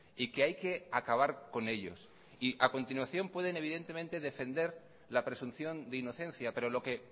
y que hay que acabar con ellos y a continuación pueden evidentemente defender la presunción de inocencia pero lo que